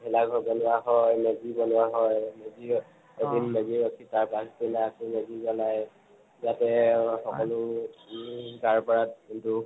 ভেলাঘাৰ জ্বলোৱা হয়, মেজি জলুৱা হয়, মেজি জ্বলাই যাতে সকলোয়ে নিজ গাৰ পৰা দোষ